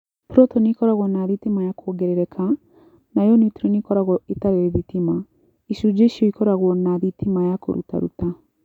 Protoni ikoragwo na thitima ya kuongerereka, nayo neutroni ikoragwo itarĩ thitima. Icunji icio ikoragwo na thitima ya kũrutaruta.